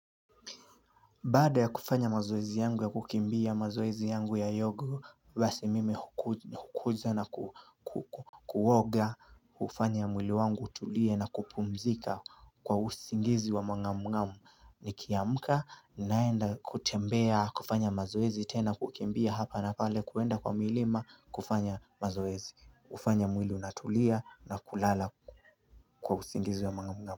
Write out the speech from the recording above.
Baada ya kufanya mazoezi yangu ya kukimbia mazoezi yangu ya yogo basi mimi hukuza na kuoga kufanya mwili wangu utulie na kupumzika kwa usingizi wa mang'ang'amu Nikiamka naenda kutembea kufanya mazoezi tena kukimbia hapa na pale kuenda kwa milima kufanya mazoezi kufanya mwili unatulia na kulala kwa usingizi wa mangamgamu.